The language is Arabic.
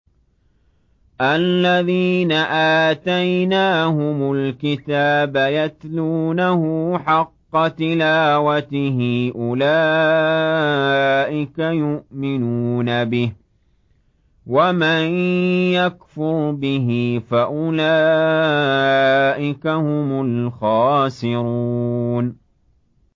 الَّذِينَ آتَيْنَاهُمُ الْكِتَابَ يَتْلُونَهُ حَقَّ تِلَاوَتِهِ أُولَٰئِكَ يُؤْمِنُونَ بِهِ ۗ وَمَن يَكْفُرْ بِهِ فَأُولَٰئِكَ هُمُ الْخَاسِرُونَ